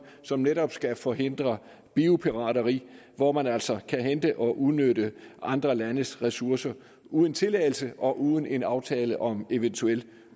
som netop skal forhindre biopirateri hvor man altså kan hente og udnytte andre landes ressourcer uden tilladelse og uden en aftale om eventuel